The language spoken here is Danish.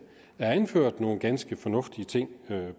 er anført nogle ganske fornuftige ting